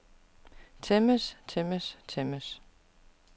tæmmes tæmmes tæmmes